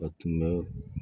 A tun bɛ